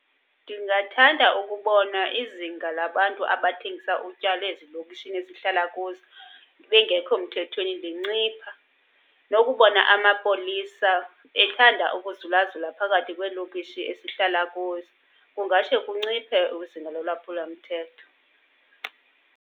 Ndingathanda ukubona izinga labantu abathengisa utywala ezilokishini esihlala kuzo bengekho mthethweni zincipha. Nokubona amapolisa ethanda ukuzulazula phakathi kweelokishi esihlala kuzo. Kungatsho kunciphe izinga lolwaphulo mthetho.